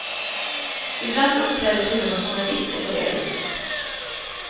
Ibland uppträder till och med journalister på det viset.